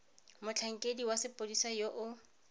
motlhankedi wa sepodisi yo o